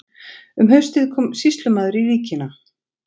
Um haustið kom sýslumaður í víkina.